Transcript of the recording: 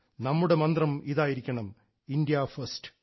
നമ്മുടെ മന്ത്രം ഇതായിരിക്കണം ഇന്ത്യയാണ് ഒന്നാമത്